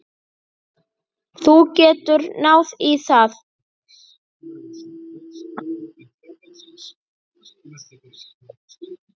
Þú getur náð í það.